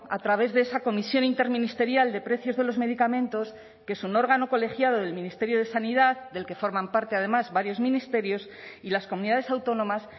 a través de esa comisión interministerial de precios de los medicamentos que es un órgano colegiado del ministerio de sanidad del que forman parte además varios ministerios y las comunidades autónomas